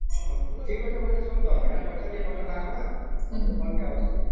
ଠିକ ଅଛି ବୋଇଲେ ଶୁଣ ତ ପଛେ ଟିକେ କଥା ନ ହବ ମତେ phone ଟେ ଆସୁଛି